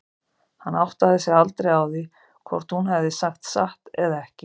Hann áttaði sig aldrei á því hvort hún hefði sagt satt eða ekki.